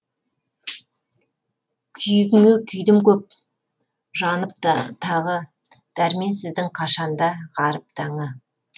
күйігіңе күйдім көп жанып тағы дәрменсіздің қашанда ғаріп таңы